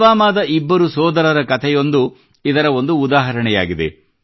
ಪುಲ್ವಾಮಾದ ಇಬ್ಬರು ಸೋದರರ ಕತೆಯೊಂದು ಇದರ ಒಂದು ಉದಾಹರಣೆಯಾಗಿದೆ